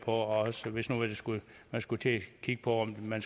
og også hvis man skulle skulle til at kigge på om man